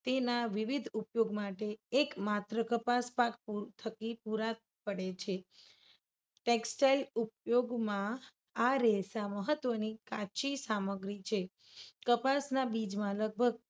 તેના વિવિધ ઉપયોગ માટે એકમાત્ર કપાસ પાક થકી પુરા પડે છે. textile ઉપયોગમાં આ રેસા મહત્વની કાચી સામગ્રી છે. કપાસના બીજમાં લગભગ